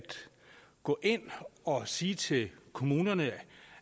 gå ind og sige til kommunerne